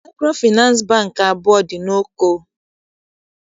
Maịkrofịnansị Bankị abụọ dị n'Oko